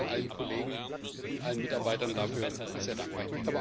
Ich bin noch mal allen Kollegen und allen Mitarbeitern dafür sehr dankbar.